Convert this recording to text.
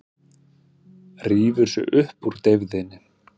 Rífur sig upp úr deyfðinni.